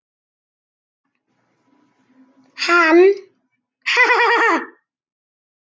Hann: Ha ha ha.